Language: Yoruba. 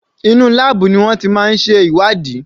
Inú láàbù ni wọ́n ti máa ń ṣe ìwádìí.